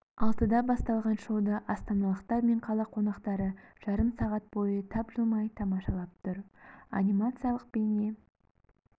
алтыда басталған шоуды астаналықтар мен қала қонақтары жарым сағат бойы тапжылмай тамашалап тұр анимациялық бейне